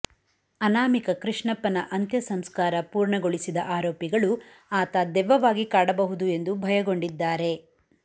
ಅನಾಮಿಕ ಕೃಷ್ಣಪ್ಪನ ಅಂತ್ಯ ಸಂಸ್ಕಾರ ಪೂರ್ಣಗೊಳಿಸಿದ ಆರೋಪಿಗಳು ಆತ ದೆವ್ವವಾಗಿ ಕಾಡಬಹುದು ಎಂದು ಭಯಗೊಂಡಿದ್ದಾರೆ